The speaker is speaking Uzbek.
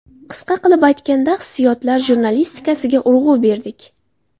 Qisqa qilib aytganda hissiyotlar jurnalistikasiga urg‘u berdik.